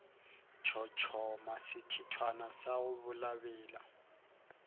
tshotshoma sethithwana sa go belabela